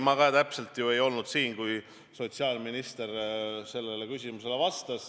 Ma ju ei olnud siin, kui sotsiaalminister sellele küsimusele vastas.